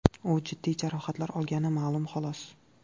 U jiddiy jarohatlar olgani ma’lum, xolos.